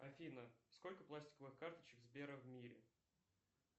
афина сколько пластиковых карточек сбера в мире